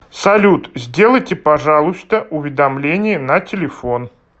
салют сделайте пожалуйста уведомление на телефон